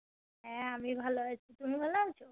হ্যাঁ আমি ভালো আছি তুমি ভালো আছো